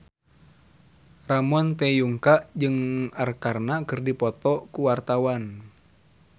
Ramon T. Yungka jeung Arkarna keur dipoto ku wartawan